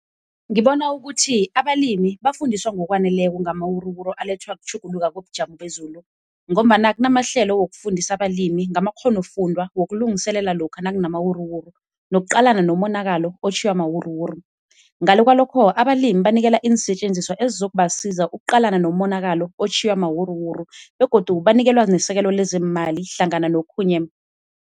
Ngibona ukuthi abalimi bafundiswa ngokwaneleko ngamawuruwuru alethwa kutjhuguluka kobujamo bezulu, ngombana kunamahlelo wokufundisa abalimi ngamakghonofundwa wokulungiselela lokha nakunamawuruwuru nokuqalana nomonakalo otjhiywa mawuruwuru. Ngale kwalokho abalimi banikela iinsetjenziswa ezizokubasiza ukuqalana nomonakalo otjhiywa mawuruwuru, begodu banikelwa nesekelo lezeemali hlangana nokhunye.